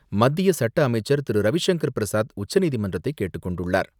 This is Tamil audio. மத்திய சட்ட அமைச்சர் திரு.ரவிசங்கர் பிரசாத் உச்சநீதிமன்றத்தை கேட்டுக் கொண்டுள்ளார்.